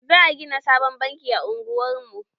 Za a gina sabon banki a unguwar mu.